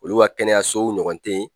Olu ka kɛnɛyasow ɲɔgɔn tɛ ye.